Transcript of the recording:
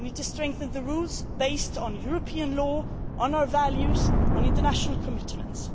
them. We need to strengthen the rules based on European law, on our values and on international commitments.